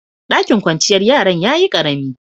Ɗakin kwanciyar yaran ya yi ƙaremi.